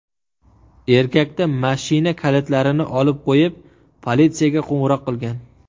Erkakdan mashina kalitlarini olib qo‘yib, politsiyaga qo‘ng‘iroq qilgan.